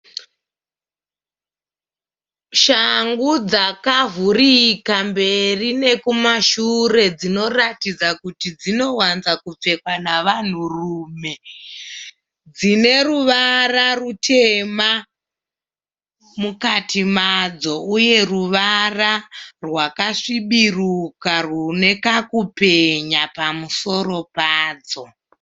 Shangu dzakavurika mberi nekumashure. Dzinoratidza kuti dzinowanza kupfekwa navanhurume. Dzine ruvara rutema mukati madzo uye ruvara rwakasvibiruka rune kakupenya pamusoro padzo.